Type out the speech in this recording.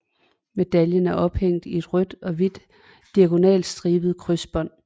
Medaljen er ophængt i et rødt og hvidt diagonalstribet krydsbånd